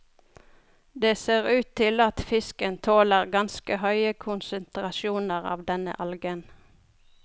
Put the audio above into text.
Det ser ut til at fisken tåler ganske høye konsentrasjoner av denne algen.